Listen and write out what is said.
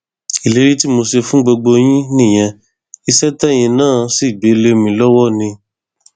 ìlérí tí mo ṣe fún gbogbo yín nìyẹn iṣẹ tẹyin náà sì gbé lé mi lọwọ ni